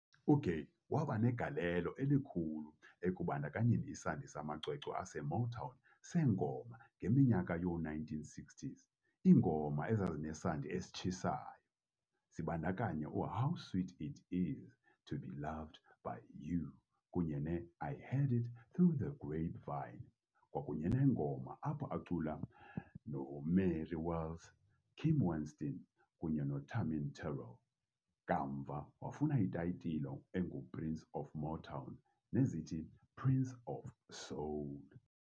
UGaye wabanegalelo elikhulu ekubandakanyeni isandi samacwecwe aseMotown sengoma ngeminyaka yoo1960s iingoma ezazinesandi esitshisayo, zibandakanya u"How Sweet It Is, To Be Loved By You," kunye ne"I Heard It Through the Grapevine", kwakunye nengoma apho acula noMary Wells, Kim Weston kunye noTammi Terrell, kamva wafuna itayitile engu "Prince of Motown" nezithi "Prince of Soul".